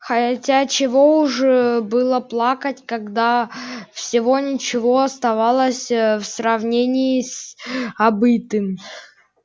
хотя чего уж было плакать когда всего ничего оставалось в сравнении с обытым